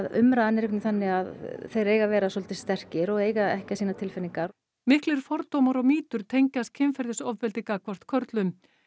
umræðan er einhvernvegin þannig að þeir eiga að vera soldið sterkir og eiga ekki að sýna tilfinningar miklir fordómar og mýtur tengjast kynferðisofbeldi gagnvart körlum